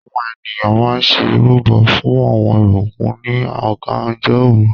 Àwọn ènìyàn mà n ṣẹ̀ irubọ̀ fún awọn ìbùkún ní ọ̀gànjọ̀ orú